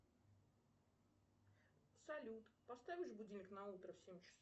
салют поставишь будильник на утро в семь часов